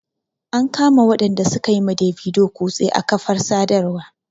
An kama waɗanda su ka yi ma Davido kutse a kafar sadarwa.